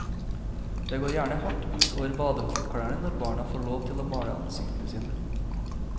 Det går gjerne hardt ut over badehåndklærne når barna får lov til å male ansiktene sine.